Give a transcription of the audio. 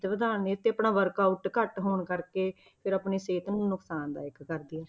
ਵਧਾ ਦਿੰਦੀਆਂ ਤੇ ਆਪਣਾ workout ਘੱਟ ਹੋਣ ਕਰਕੇ ਫਿਰ ਆਪਣੀ ਸਿਹਤ ਨੂੰ ਨੁਕਸਾਨਦਾਇਕ ਕਰਦੀਆਂ।